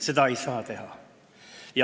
Seda ei saa teha!